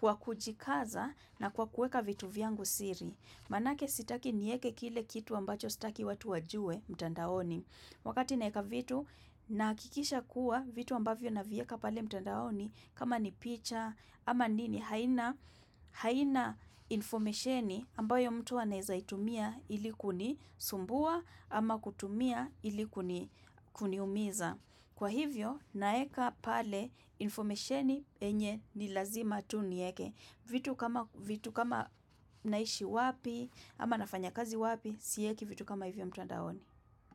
kwa kujikaza na kwa kuweka vitu vyangu siri. Manake sitaki nieke kile kitu ambacho sitaki watu wajue mtandaoni. Wakati naeka vitu na hakikisha kuwa vitu ambavyo navieka pale mtandaoni kama ni picha ama nini haina informesheni ambayo mtu anaiza itumia ili kunisumbua ama kutumia ili kuniumiza. Kwa hivyo, naeka pale, informationi yenye ni lazima tu nieke. Vitu kama naishi wapi, ama nafanya kazi wapi, siyeki vitu kama hivyo mtandaoni.